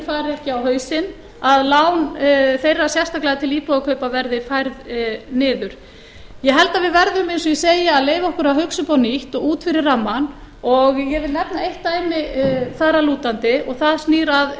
fari ekki á hausinn að lán þeirra sérstaklega til íbúðakaupa verði færð niður ég held að við verðum eins og ég segi að leyfa okkur að hugsa upp á nýtt og út fyrir rammann og ég vil nefna eitt dæmi þar að lútandi og það snýr að